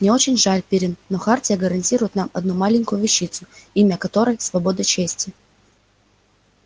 мне очень жаль пиренн но хартия гарантирует нам одну маленькую вещицу имя которой свобода чести